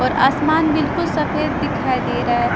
और आसमान बिल्कुल सफेद दिखाई दे रहा है।